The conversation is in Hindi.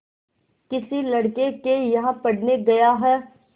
किसी लड़के के यहाँ पढ़ने गया है